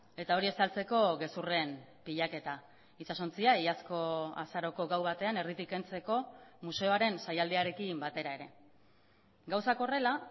eta hori estaltzeko gezurren pilaketa itsasontzia iazko azaroko gau batean erditik kentzeko museoaren saialdiarekin batera ere gauzak horrela